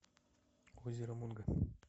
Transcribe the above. озеро мунго